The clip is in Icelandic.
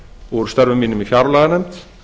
úr störfum mínum í fjárlaganefnd